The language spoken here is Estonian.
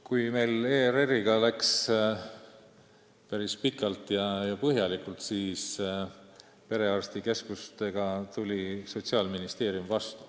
Kui meil ERR-i asjade arutelu läks päris pikaks ja põhjalikuks, siis perearstikeskuste osas tuli Sotsiaalministeerium vastu.